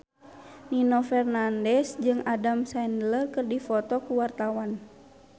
Nino Fernandez jeung Adam Sandler keur dipoto ku wartawan